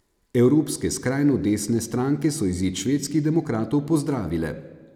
Evropske skrajno desne stranke so izid Švedskih demokratov pozdravile.